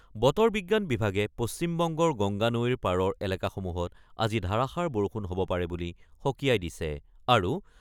বতৰ বিজ্ঞান বিভাগে পশ্চিমবংগৰ গংগা নৈৰ পাৰৰ এলেকাসমূহত আজি ধাৰাসাৰ বৰষুণ হ'ব পাৰে বুলি সকীয়াই দিছে। আৰু